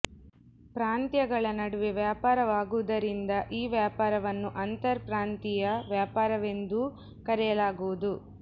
ಪ್ರಾಂತ್ಯಗಳ ನಡುವೆ ವ್ಯಾಪಾರವಾಗುವುದರಿಂದ ಈ ವ್ಯಾಪಾರವನ್ನು ಅಂತರ್ ಪ್ರಾಂತೀಯ ವ್ಯಾಪಾರವೆಂದೂ ಕರೆಯಲಾಗುವುದು